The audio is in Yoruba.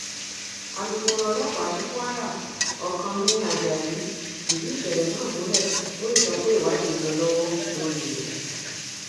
alūkkóró ọlọpàá ní kwara ọkánmi ajayi fìdí ìṣẹlẹ náà múlẹ ó sì sọ pé ìwádìí ń lọ lọwọ lórí rẹ